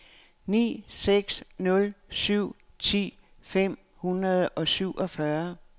ni seks nul syv ti fem hundrede og syvogfyrre